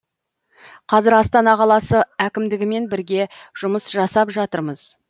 қазір астана қаласы әкімдігімен бірге жұмыс жасап жатырмыз